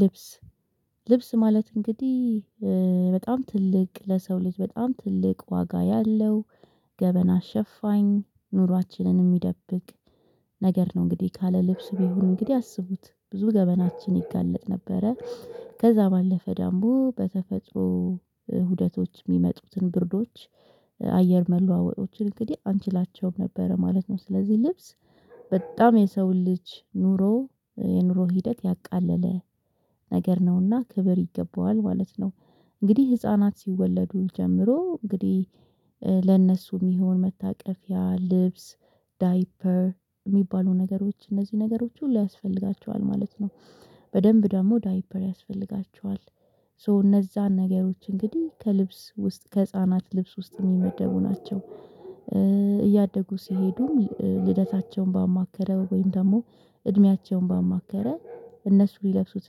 ልብስ ልብስ ማለት እንግዲህ በጣም ትልቅ ለሰው ልጅ በጣም ትልቅ ዋጋ ያለው ገበና ሸፋኝ ኑሯችንንም ሚደብቅ ነገር ነው። እንግዲህ ካለ ልብስ ቢሆን እንግዲህ አስቡት ብዙ ገበናችን ይጋለጥ ነበረ። ከዛ ባለፈ ዳምቦ በተፈጥሮ ሁደቶች የሚመጡትን ብርዶች አየር መለዋወጦችን እንግዲህ አንችላቸውም ነበረ ማለት ነው። ስለዚህ ልብስ በጣም የሰውን ልጅ ኑሮ የኑሮ ሂደት ያቃለለ ነገር ነውና ክብር ይገባዋል ማለት ነው። እንግዲህ ህፃናት ሲወለዱ ጀምሮ እንግዲህ የሚሆን መታቀፊያ ልብስ ዳይፐር የሚባሉ ነገሮች እነዚህ ነገሮች ሁሉ ያስፈልጋቸዋል ማለት ነው። በደንብ ደግሞ ዳይፐር ያስፈልጋቸዋል ሶ እነዛን ነገሮች እንግዲህ ከልብስ ውስጥ ከህፃናት ልብስ ውስጥ የሚመደቡ ናቸው። እያደጉ ሲሄዱም ልደታቸውን ባማከለ ወይም ደግሞ እድሜያቸውን ባማከለ እነሱ ሊለብሱት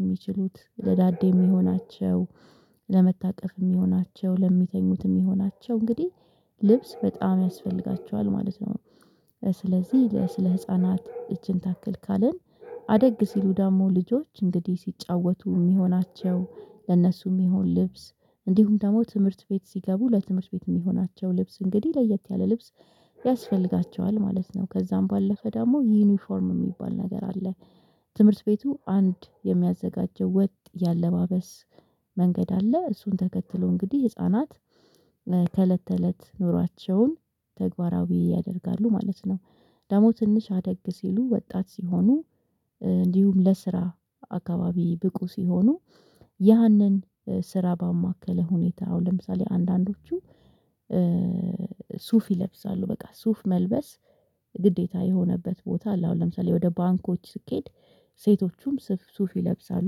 የሚችሉት ለዳዴ የሚሆናቸው ለመታቀፍ የሚሆናቸው ለሚተኙት የሚሆናቸው እንግዲህ ልብስ በጣም ያስፈልጋቸዋል ማለት ነው። ስለዚህ ስለ ህፃናት እችን ታክል ካልን አደግ ሲሉ ደግሞ ልጆች እንግዲህ ሲጫወቱ የሚሆናቸው ለእነሱ የሚሆን ልብስ እንዲሁም ደግሞ ትምህርት ቤት ሲገቡ ለትምህርት ቤት የሚሆናቸው ልብስ እንግዲህ ለየት ያለ ልብስ ያስፈልጋቸዋል ማለት ነው። ከዛም ባለፈ ደግሞ ዩኒፎርም የሚባል ነገር አለ። ትምህርት ቤቱ አንድ የሚያዘጋጀው ወጥ የአለባበስ መንገድ አለ እሱን ተከትሎ እንግዲህ ህፃናት ከእለት ተእለት ኑሯቸውን ተግባራዊ ያደርጋሉ ማለት ነው። ደግሞ ትንሽ አደግ ሲሉ ወጣት ሲሆኑ እንዲሁም ለስራ አካባቢ ብቁ ሲሆኑ ያንን ስራ ባማከለ ሁኔታ አሁን ለምሳሌ አንዳንዶቹ ሱፍ ይለብሳሉ በቃ ሱፍ መልበስ ግዴታ የሆነበት ቦታ አለ አሁን ለምሳሌ ወደ ባንኮች ስኬድ ሴቶቹም ስፍ ሱፍ ይለብሳሉ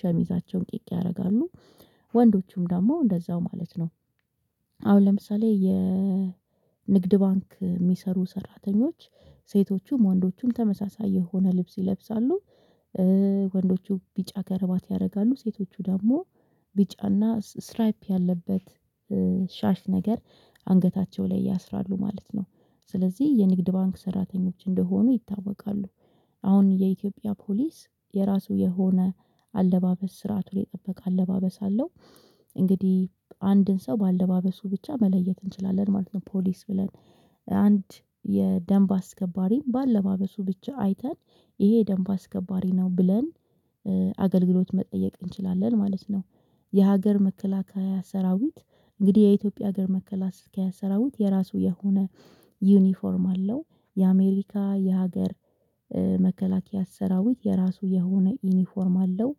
ሸሚዛቸውን ቂቅ ያደርጋሉ ወንዶቹም ደግሞ እንደዛው ማለት ነው። አሁን ለምሳሌ የንግድ ባንክ የሚሰሩ ሰራተኞች ሴቶቹም ወንዶቹም ተመሳሳይ የሆነ ልብስ ይለብሳሉ። ወንዶቹ ቢጫ ከረባት ያደርጋሉ ሴቶቹ ደግሞ ቢጫና ስትራይፕ ያለበት ሻሽ ነገር አንገታቸው ላይ ያስራሉ ማለት ነው። ስለዚህ የንግድ ባንክ ሰራተኞች እንደሆኑ ይታወቃሉ። አሁን የኢትዮጵያ ፖሊስ የራሱ የሆነ አለባበስ ስርአቱን የጠበቀ አለባበስ አለው። እንግዲህ አንድን ሰው በአለባበሱ ብቻ መለየት እንችላለን ማለት ነው። ፖሊስ ብለን አንድ የደንብ አስከባሪም በአለባበሱ ብቻ አይተን ይሄ ደንብ አስከባሪ ነው ብለን አገልግሎት መጠየቅ እንችላለን ማለት ነው። የሀገር መከላከያ ሰራዊት እንግዲህ የኢትዮጵያ ሀገር መከላከያ ሰራዊት የራሱ የሆነ ዩኒፎርም አለው። የአሜሪካ የሀገር መከላከያ ሰራዊት የራሱ የሆነ ዩኒፎርም አለው።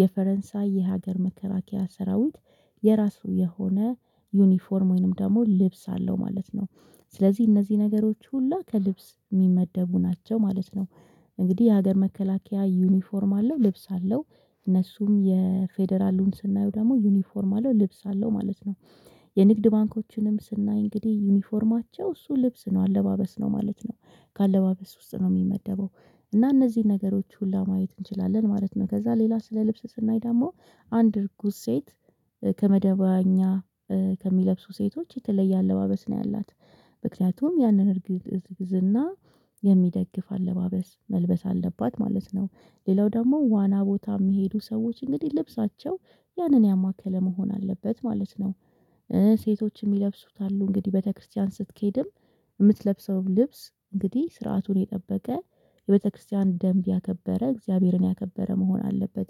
የፈረንሳይ የሀገር መከለከያ ሰራዊት የራሱ የሆነ ዩኒፎርም ወይንም ደግሞ ልብስ አለው ማለት ነው። ስለዚህ እነዚህ ነገሮች ሁላ ከልብስ የሚመደቡ ናቸው ማለት ነው። እንግዲህ የሀገር መከላከያ ዩኒፎርም አለው ልብስ አለው እነሱም የፌደራሉን ስናየው ደግሞ ዩኒፎርም አለው ልብስ አለው ማለት ነው። የንግድ ባንኮችንም ስናይ እንግዲህ ዩኒፎርማቸው እሱ ልብስ ነው አለባበስ ነው ማለት ነው። ከአለባበስ ውስጥ ነው የሚመደበው። እና እነዚህን ነገሮች ሁሉ ማየት እንችላለን ማለት ነው። ከዛ ሌላ ስለ ልብስ ስናይ ደግሞ አንድ እርጉዝ ሴት ከመደበኛ ከሚለብሱ ሴቶች የተለየ አለባበስ ነው ያላት። ምክንያቱም ያንን እርግዝና የሚደግፍ አለባበስ መልበስ አለባት ማለት ነው። ሌላው ደግሞ ዋና ቦታ የሚሄዱ ሰዎች እንግዲህ ልብሳቸው ያንን ያማከለ መሆን አለበት ማለት ነው። ሴቶችም የሚለብሱት አሉ እንግዲህ ቤተክርስቲያን ስትኬድም የምትለብሰውም ልብስ እንግዲህ ስርዓቱን የጠበቀ የቤተክርስቲያን ደንብ ያከበረ እግዚአብሔርን ያከበረ መሆን አለበት።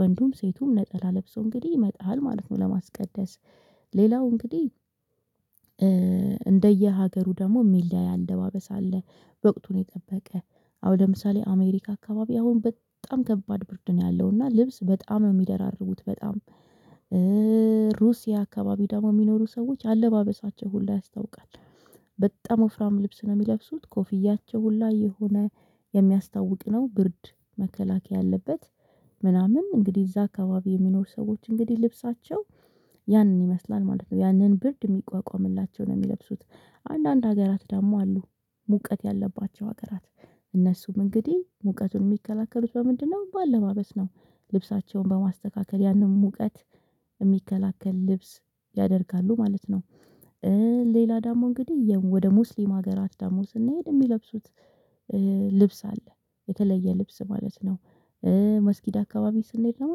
ወንዱም ሴቱም ነጠላ ለብሶ እንግዲህ ይመጣል ማለት ነው። ለማስቀደስ ሌላው እንግዲህ እንደየ ሀገሩ ደግሞ የሚል ላይ አለባበስ አለ። በቅቱን የጠበቀ አሁን ለምሳሌ አሜሪካ አካባቢ አሁን በጣም ከባድ ብርድ ነው። ያለው እና ልብስ በጣም የሚደራርቡት በጣም ሩሲያ አካባቢ ደግሞ የሚኖሩ ሰዎች አለባበሳቸው ሁሉ ያስታውቃል። በጣም ወፍራም ልብስ ነው የሚለብሱት ኮፍያቸው ሁላ የሆነ የሚያስታውቅ ነው ብርድ መከላከያ ያለበት ምናምን እንግዲህ እዛ አካባቢ የሚኖሩ ሰዎች እንግዲህ ልብሳቸው ያንን ይመስላል ማለት ነው። ያንን ብርድ የሚቋቋምላቸውን የሚለብሱት አንዳንድ ሀገራት ደግሞ አሉ። ሙቀት ያለባቸው ሀገራት እነሱም እንግዲህ ሙቀቱን የሚከላከሉት በምንድነው በአለባበስ ነው? ልብሳቸውን በማስተካከል ያንን ሙቀት የሚከላከል ልብስ ያደርጋሉ ማለት ነው። ሌላ ዳሞ እንግዲህ ወደ ሙስሊም ሀገራት ዳሞ ስንሄድ የሚለብሱት ልብስ አለ። የተለየ ልብስ ማለት ነው። መስኪድ አካባቢ ስንሄድ ነው